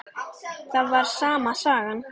Það var sama sagan.